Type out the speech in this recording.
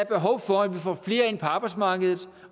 behov for at vi får flere ind på arbejdsmarkedet